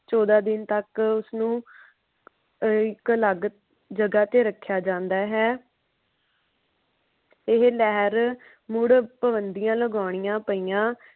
ਚੋਦਾ ਦਿਨ ਤਕ ਉਸਨੂੰ ਇੱਕ ਅਲੱਗ ਜਗ੍ਹਾ ਤੇ ਰੱਖਿਆ ਜਾਂਦਾ ਹੈ। ਇਹ ਲਹਿਰ ਮੁੜ ਪਾਬੰਦੀਆਂ ਲਾਗੋਨੀਆ ਪਾਇਆ।